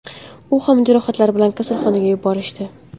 U ham jarohatlar bilan kasalxonaga yuborishdi.